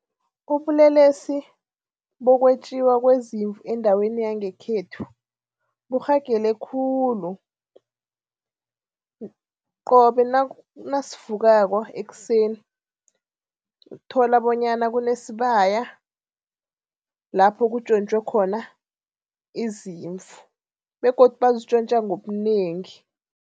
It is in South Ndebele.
Ubulelesi bokwetjiwa kwezimvu endaweni yangekhethu burhagele khulu. Qobe nasivukako ekuseni uthola bonyana kunesibaya lapho kutjontjwe khona izimvu begodu bazitjontja ngobunengi.